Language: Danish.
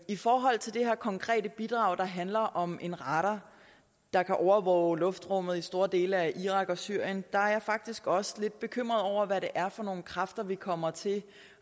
i forhold til det her konkrete bidrag der handler om en radar der kan overvåge luftrummet i store dele af irak og syrien er jeg faktisk også lidt bekymret over hvad det er for kræfter vi kommer til